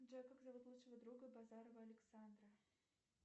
джой как зовут лучшего друга базарова александра